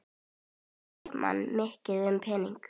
Hugsa leikmenn mikið um peninga?